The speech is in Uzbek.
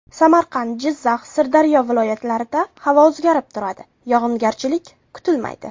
Samarqand, Jizzax, Sirdaryo viloyatlarida havo o‘zgarib turadi, yog‘ingarchilik kutilmaydi.